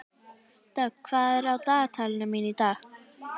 Dögg, hvað er á dagatalinu mínu í dag?